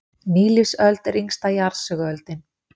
Nýlífsöld er yngsta jarðsöguöldin.